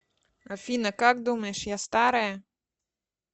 афина как думаешь я старая